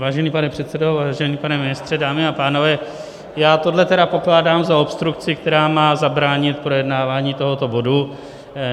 Vážený pane předsedo, vážený pane ministře, dámy a pánové, já tohle teda pokládám za obstrukci, která má zabránit projednávání tohoto bodu.